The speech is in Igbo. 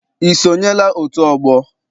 I sonyela otu ọgbọ?